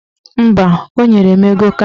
Mba, o nyere m ego kanta